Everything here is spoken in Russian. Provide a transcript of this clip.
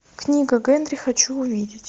книга генри хочу увидеть